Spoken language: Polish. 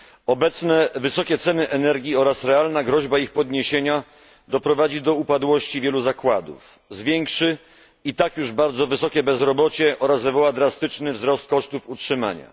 Obecne wysokie ceny energii oraz realna groźba ich podniesienia doprowadzą do upadłości wielu zakładów, zwiększą i tak już bardzo wysokie bezrobocie oraz wywołają drastyczny wzrost kosztów utrzymania.